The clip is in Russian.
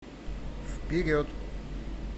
вперед